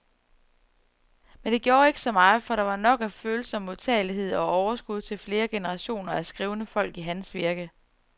Men det gjorde ikke så meget, for der var nok af følsom modtagelighed og overskud til flere generationer af skrivende folk i hans virke.